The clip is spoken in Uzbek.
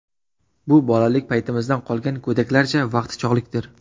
Bu bolalik paytimizdan qolgan go‘daklarcha vaqtichog‘likdir.